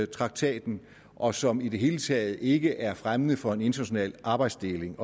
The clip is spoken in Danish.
traktaten og som i det hele taget ikke er fremmende for en international arbejdsdeling